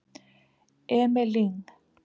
Emil Lyng